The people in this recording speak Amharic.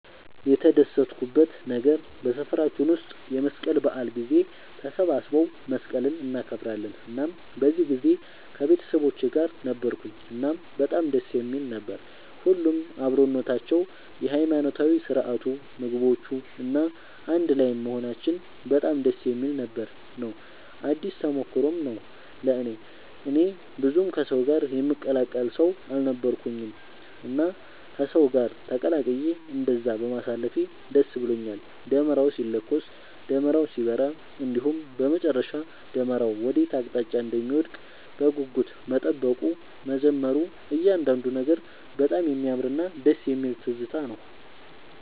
የተደሰትኩበት ነገር በሰፈራችን ውስጥ የመስቀል በዓል ጊዜ ተሰባስበው መስቀልን እናከብራለን እናም በዚህ ጊዜ ከቤተሰቦቼ ጋር ነበርኩኝ እናም በጣም ደስ የሚል ነበር። ሁሉም አብሮነታቸው፣ የሃይማኖታዊ ስርዓቱ፣ ምግቦቹ፣ እና አንድ ላይም መሆናችን በጣም ደስ የሚል ነበር ነው። አዲስ ተሞክሮም ነው ለእኔ። እኔ ብዙም ከሰው ጋር የምቀላቀል ሰው አልነበርኩኝም እና ከሰው ጋር ተቀላቅዬ እንደዛ በማሳለፌ ደስ ብሎኛል። ደመራው ሲለኮስ፣ ደመራው ሲበራ እንዲሁም በመጨረሻ ደመራው ወዴት አቅጣጫ እንደሚወድቅ በጉጉት መጠበቁ፣ መዘመሩ እያንዳንዱ ነገር በጣም የሚያምርና ደስ የሚል ትዝታ ነው።